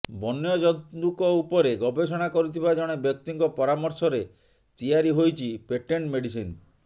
ବନ୍ୟ ଜନ୍ତୁଙ୍କ ଉପରେ ଗବେଷଣା କରୁଥିବା ଜଣେ ବ୍ୟକ୍ତିଙ୍କ ପରାମର୍ଶରେ ତିଆରି ହୋଇଛି ପେଟେଣ୍ଟ ମେଡିସିନ୍